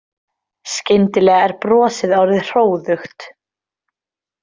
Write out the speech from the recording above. Skyndilega er brosið orðið hróðugt.